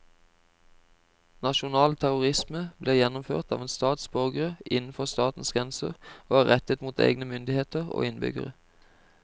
Nasjonal terrorisme blir gjennomført av en stats borgere innenfor statens grenser og er rettet mot egne myndigheter og innbyggere.